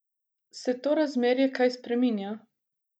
Se to razmerje kaj spreminja?